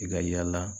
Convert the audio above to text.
I ka yala